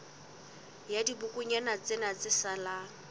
la dibokonyana tsena tse salang